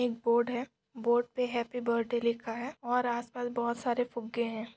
एक बोर्ड है बोर्ड पे हॅप्पी बर्थडे लिखा है और आस-पास बहुत सारे फुग्गे है।